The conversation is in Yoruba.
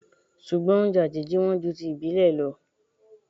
Ṣùgbọ́n oúnjẹ àjèjì wọn ju ti ìbílè lọ o.